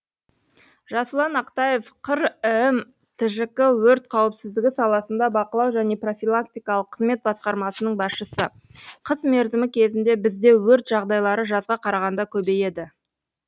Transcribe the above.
жасұлан ақтаев қр іім тжк өрт қауіпсіздігі саласында бақылау және профилактикалық қызмет басқармасының басшысы қыс мерзімі кезінде бізде өрт жағдайлары жазға қарағанда көбейеді